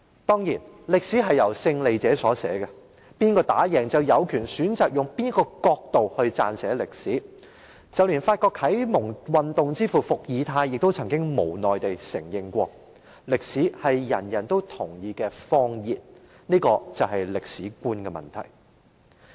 當然，歷史是由勝利者所寫的，勝利者有權選擇以甚麼角度撰寫歷史，連法國啟蒙運動之父伏爾泰亦曾無奈承認，"歷史是人人都同意的謊言"，這便是歷史觀。